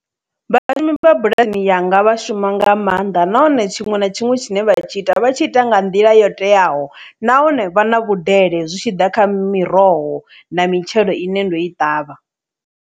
Vhalimi vha bulani yanga vha shuma nga maanḓa nahone tshiṅwe na tshiṅwe tshine vha tshi ita vha tshi ita nga nḓila yo teaho nahone vha na vhudele zwi tshi ḓa kha miroho na mitshelo ine ndo i ṱavha.